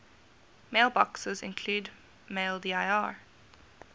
mailboxes include maildir